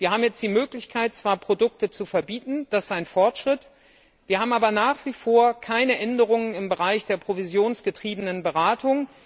Wir haben jetzt zwar die Möglichkeit, Produkte zu verbieten das ist ein Fortschritt wir haben aber nach wie vor keine Änderungen im Bereich der provisionsgetriebenen Beratung.